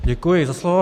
Děkuji za slovo.